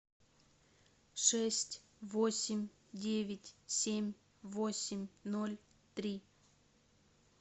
шесть восемь девять семь восемь ноль три